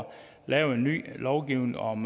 lave en ny lovgivning om